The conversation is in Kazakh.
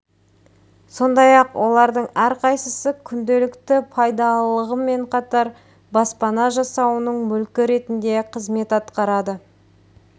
сондай-ақ олардың әрқайсысы күнделікті пайдалылығымен қатар баспана жасауының мүлкі ретінде қызмет атқарады